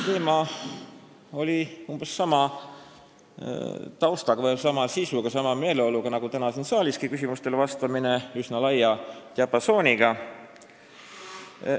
Teema käsitlemine toimus umbes sama sisu ja meeleoluga, nagu toimus täna siin saalis küsimustele vastamine, see oli üsna laia diapasooniga.